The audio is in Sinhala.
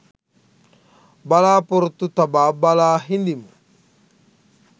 බලාපොරොත්තු තබා බලා හිඳිමු.